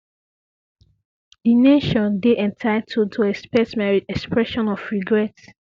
di nation dey entitled to expect my expression of regret